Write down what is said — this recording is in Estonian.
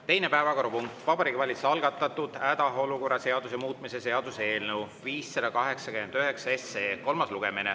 Teine päevakorrapunkt, Vabariigi Valitsuse algatatud hädaolukorra seaduse muutmise seaduse eelnõu 589 kolmas lugemine.